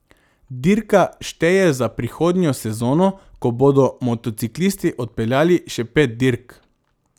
Dirka šteje za prihodnjo sezono, ko bodo motociklisti odpeljali še pet dirk.